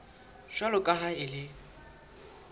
jwalo ka ha e le